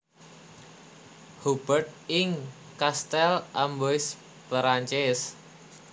Hubert ing Kastel Amboise Perancis